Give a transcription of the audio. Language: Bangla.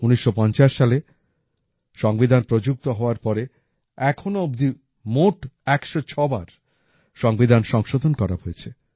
১৯৫০ সালে সংবিধান প্রযুক্ত হওয়ার পরে এখনও অবধি মোট ১০৬ বার সংবিধান সংশোধন করা হয়েছে